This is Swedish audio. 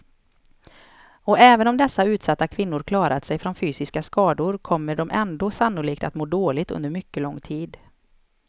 Och även om dessa utsatta kvinnor klarat sig från fysiska skador kommer de ändå sannolikt att må dåligt under mycket lång tid.